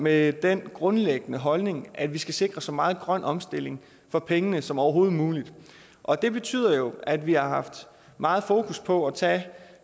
med den grundlæggende holdning at vi skal sikre så meget grøn omstilling for pengene som overhovedet muligt og det betyder jo at vi har haft meget fokus på at tage